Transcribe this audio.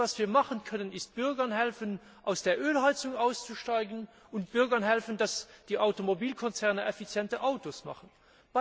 Das einzige, was wir machen können, ist Bürgern helfen, aus der Ölheizung auszusteigen, und Bürgern helfen, dass die Automobilkonzerne effiziente Autos bauen.